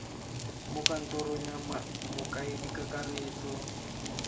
mo kantorong ya mokaedi kakaretso